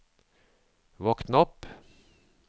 våkn opp